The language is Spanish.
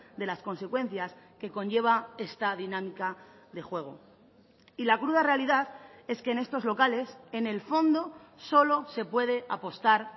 de las consecuencias que conlleva esta dinámica de juego y la cruda realidad es que en estos locales en el fondo solo se puede apostar